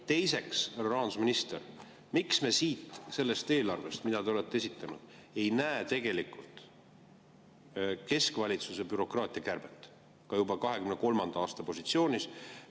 Teiseks, härra rahandusminister, miks me sellest eelarvest, mille te olete esitanud, ei näe tegelikult keskvalitsuse bürokraatia kärbet ka juba 2023. aasta positsioonis?